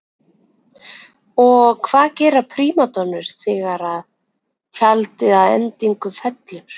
Og hvað gera prímadonnur þegar tjaldið að endingu fellur?